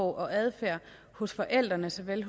og adfærd hos forældrene såvel